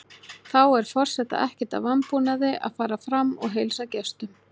Þá er forseta ekkert að vanbúnaði að fara fram og heilsa gestum.